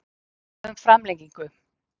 Krafa um framlengingu